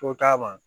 So taama